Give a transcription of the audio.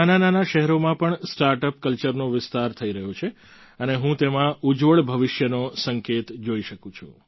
આજે નાનાનાના શહેરોમાં પણ સ્ટાર્ટઅપ કલ્ચરનો વિસ્તાર થઈ રહ્યો છે અને હું તેમાં ઉજ્જવળ ભવિષ્યનો સંકેત જોઈ શકું છું